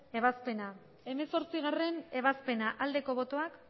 ebazpena hemezortzigarrena ebazpena aldeko botoak